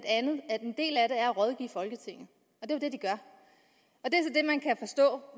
at en del af det er at rådgive folketinget og det